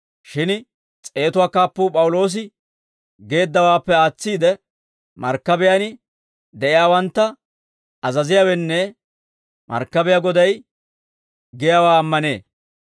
Shin s'eetatuwaa kaappuu P'awuloosi geeddawaappe aatsiide, markkabiyaan de'iyaawantta azaziyaawenne markkabiyaa goday giyaawaa ammanee.